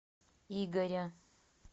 игоря